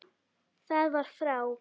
Það var frá